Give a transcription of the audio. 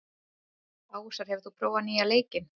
Ásar, hefur þú prófað nýja leikinn?